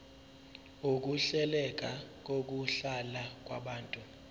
ukuhleleka kokuhlala kwabantu